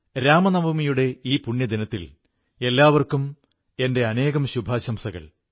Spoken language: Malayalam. ഈ പരിപാവനമായ അവസരത്തിൽ എല്ലാവർക്കും കുന്നോളം ശുഭാശംസകൾ